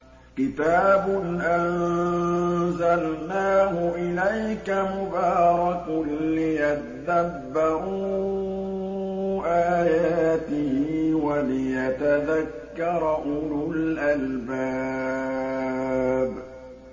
كِتَابٌ أَنزَلْنَاهُ إِلَيْكَ مُبَارَكٌ لِّيَدَّبَّرُوا آيَاتِهِ وَلِيَتَذَكَّرَ أُولُو الْأَلْبَابِ